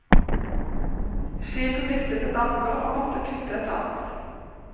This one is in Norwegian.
Skipet mistet ett anker og måtte kutte et annet.